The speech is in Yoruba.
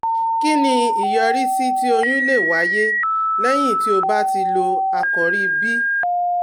Kí ni ìyọrísí tí oyún lè wáyé lẹ́yìn tí o bá ti lo Àkòrí B?